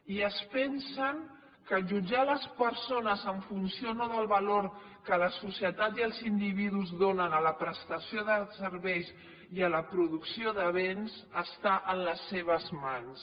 i es pensen que jutjar les persones en funció no del valor que la societat i els individus donen a la prestació de serveis i a la producció de béns està a les seves mans